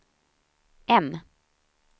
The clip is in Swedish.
M